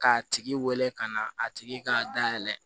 K'a tigi wele ka na a tigi ka dayɛlɛ